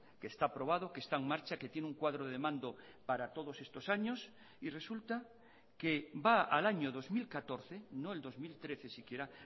que está aprobado que está en marcha que tiene un cuadro de mando para todos estos años y resulta que va al año dos mil catorce no el dos mil trece siquiera